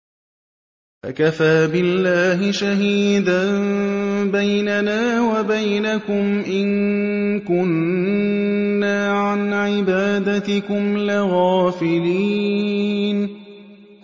فَكَفَىٰ بِاللَّهِ شَهِيدًا بَيْنَنَا وَبَيْنَكُمْ إِن كُنَّا عَنْ عِبَادَتِكُمْ لَغَافِلِينَ